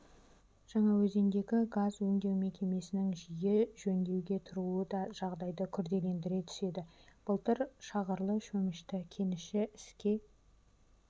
жаңаөзендегі газ өңдеу мекемесінің жиі жөндеуге тұруы да жағдайды күрделендіре түседі былтыр шағырлы-шөмішті кеніші іске